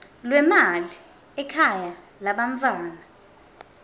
lwemali ekhaya lebantfwana